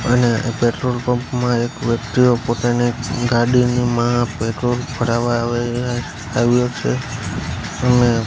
અને petrol pump માં એક વ્યક્તિઓ પોતાની ગાડીમા પેટ્રોલ ભરાવા આવે આવ્યો છે અને--